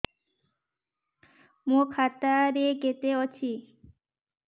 ମୋ ଖାତା ରେ କେତେ ଅଛି